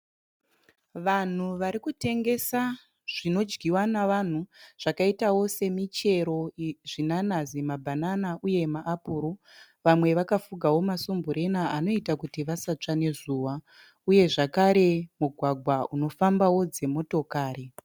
Vanhu vari kutengesa zvinodyiwa navanhu zvakaitawo semichero zvinanazi, mabhanana uye maapuro. Vamwe vakafugawo masumburena anoita kuti vasatsva nezuva uye zvakare mugwagwa unofambawo dzimotokari.